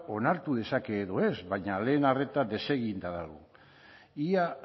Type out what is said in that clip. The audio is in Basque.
onartu dezake edo ez baina lehen arreta deseginda dago ia